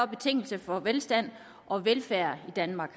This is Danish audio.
betingelse for velstand og velfærd i danmark